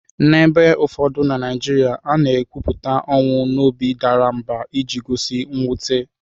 N'ebe ụfọdụ na Naijiria, a na-ekwupụta ọnwụ n'obi dara mbà iji gosi mwute.